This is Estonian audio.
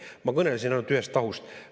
Ma kõnelesin ainult ühest tahust.